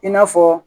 I n'a fɔ